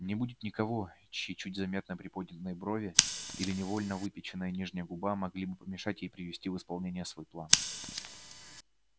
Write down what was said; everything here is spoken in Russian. не будет никого чьи чуть заметно приподнятые брови или невольно выпяченная нижняя губа могли бы помешать ей привести в исполнение свой план